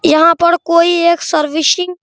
यहाँ पर कोई एक सर्विसिंग --